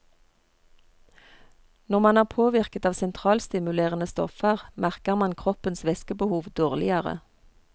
Når man er påvirket av sentralstimulerende stoffer, merker man kroppens væskebehov dårligere.